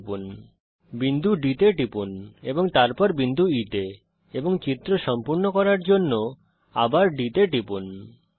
চিত্রটিকে সম্পূর্ণ করার জন্যে বিন্দু D তে টিপুনএবং তারপর আবার বিন্দু E এবং Dতে টিপুন